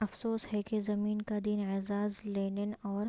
افسوس ہے کہ زمین کا دن اعزاز لینن اور